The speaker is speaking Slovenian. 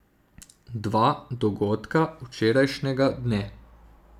Dva dogodka včerajšnjega dne.